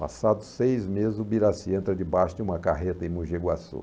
Passados seis meses, o Birassi entra debaixo de uma carreta em Mogi Guaçu.